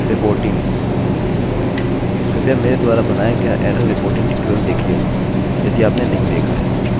यदि आपने इसको 0 पर सेट किया है